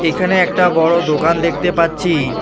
এখানে একটা বড়ো দোকান দেখতে পাচ্ছি।